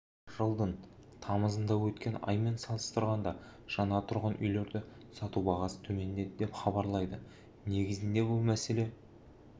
жылдың тамызында өткен аймен салыстырғанда жаңа тұрғын үйлерді сату бағасы төмендеді деп іабарлайды негізі бұл мәселе